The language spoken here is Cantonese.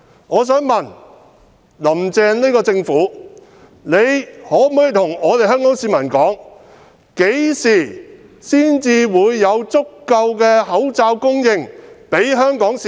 我想問，"林鄭"政府可否告訴香港市民，何時才有足夠的口罩供應給香港市民？